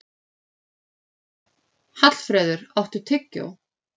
Hallfreður, áttu tyggjó?